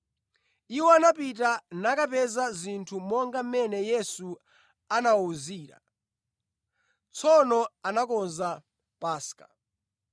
Iwo anapita nakapeza zinthu monga mmene Yesu anawawuzira. Tsono anakonza Paska.